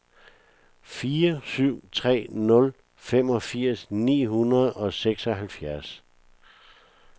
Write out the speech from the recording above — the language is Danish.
fire syv tre nul femogfirs ni hundrede og seksoghalvfjerds